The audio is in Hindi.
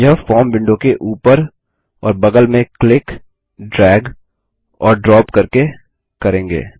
हम यह फॉर्म विंडो के उपर और बगल में क्लिक ड्रैग और ड्रॉप करके करेंगे